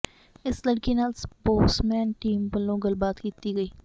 ਇਸ ਲੜਕੀ ਨਾਲ ਸਪੋਕਸਮੈਨ ਟੀਮ ਵੱਲੋਂ ਗੱਲਬਾਤ ਕੀਤੀ ਗਈ